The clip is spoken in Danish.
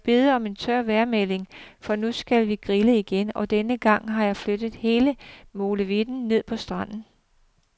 Må jeg bede om en tør vejrmelding, for nu skal vi grille igen, og denne gang har jeg flyttet hele molevitten ned på stranden.